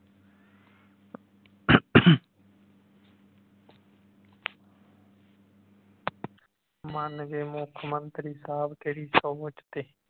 ਮੰਨ ਗਏ ਮੁੱਖਮੰਤਰੀ ਸਾਹਬ ਤੇਰੀ ਸੋਚ ਤੇ